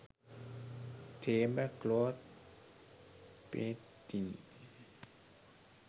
table cloth painting